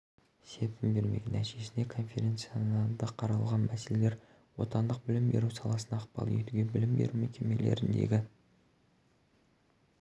серпін бермек нәтижесінде конференцияда қаралған мәселелер отандық білім беру саласына ықпал етуге білім беру мекемелеріндегі